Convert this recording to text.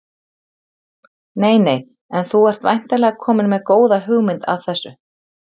Nei nei En þú ert væntanlega kominn með góða hugmynd að þessu?